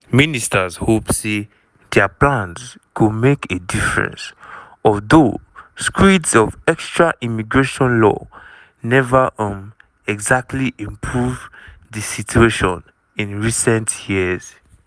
ministers hope say dia plans go make a difference although screeds of extra immigration law neva um exactly improve di situation in recent years.